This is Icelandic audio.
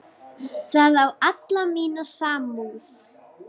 Það á alla mína samúð.